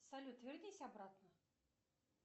салют вернись обратно